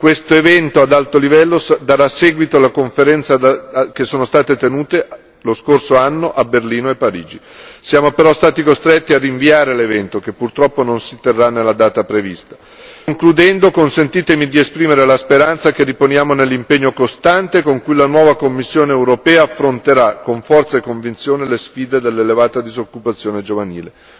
Questo evento ad alto livello darà seguito alle conferenze che sono state tenute lo scorso anno a Berlino e Parigi. Siamo però stati costretti a rinviare l'evento, che purtroppo non si terrà nella data prevista. Concludendo, consentitemi di esprimere la speranza che riponiamo nell'impegno costante con cui la nuova Commissione europea affronterà con forza e convinzione le sfide dell'elevata disoccupazione giovanile.